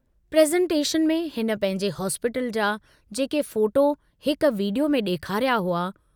Presentation में हिन पंहिंजे हॉस्पीटल जा जेके फोटो हिक वीडियो में डेखारिया हुआ।